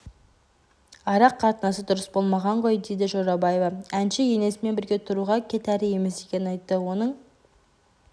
ара-қатынасы дұрыс болмаған ғой дейді жорабаева әнші енесімен бірге тұруға кетәрі емес екенін айты оның